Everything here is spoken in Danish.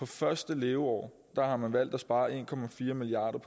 første leveår har man valgt at spare en milliard